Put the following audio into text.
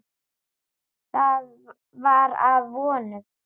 Það var að vonum.